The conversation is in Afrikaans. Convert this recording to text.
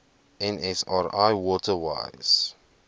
nsri water wise